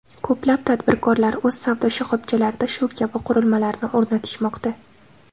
Ko‘plab tadbirkorlar o‘z savdo shoxobchalarida shu kabi qurilmalarni o‘rnatishmoqda.